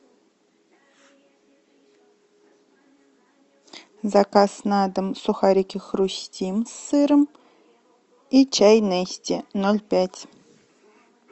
заказ на дом сухарики хрустим с сыром и чай нести ноль пять